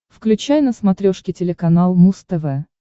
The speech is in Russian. включай на смотрешке телеканал муз тв